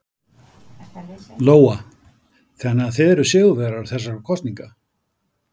Lóa: Þannig að þið eruð sigurvegarar þessara kosninga?